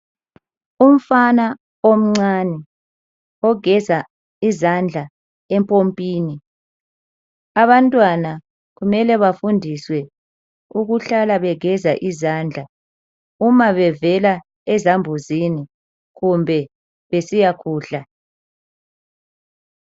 Umfana omncane ogeza izandla empompini..Abantwana kumele bafundiswe ukuhlala begeza izandla uma bevela ezambuzini kumbe besiyakudla .